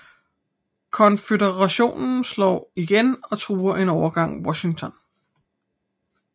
Konføderationen slår igen og truer en overgang Washington